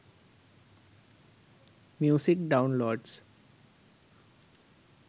music downloads